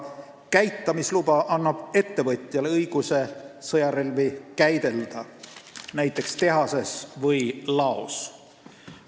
Käitamisluba annab ettevõtjale õiguse käidelda sõjarelvi näiteks tehases või laos.